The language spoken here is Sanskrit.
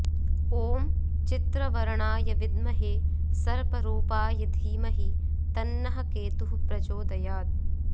ॐ चित्रवर्णाय विद्महे सर्परूपाय धीमहि तन्नः केतुः प्रचोदयात्